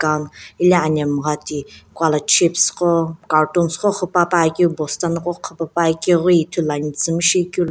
dal hilae anamgha ti Kuala chips gho cartoons gho ghipaepa keu bosta nako ghipae pa keu ghi ithulu nae .]